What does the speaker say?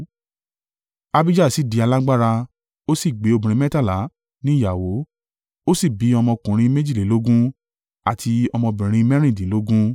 Abijah sì di alágbára, ó sì gbé obìnrin mẹ́tàlá ní ìyàwó, ó sì bi ọmọkùnrin méjìlélógún, àti ọmọbìnrin mẹ́rìndínlógún.